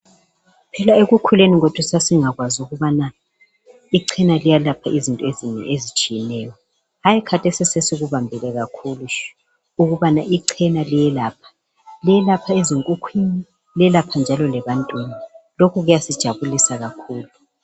Phela ekukhuleni kwethu sasingakwazi ukubana ichena liyelapha izinto ezinengi ezitshiyeneyo hayi khathesi sesikubambile kakhulu ukubana ichena liyelapha liyelapha ezinkukhwini lelapha njalo lebantwini lokhu kuyasijabulisa kakhulu.